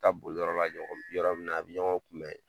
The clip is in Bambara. ta boli yɔrɔ la yɔrɔ min na a bɛ ɲɔgɔn kunbɛ.